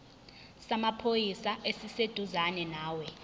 samaphoyisa esiseduzane nawe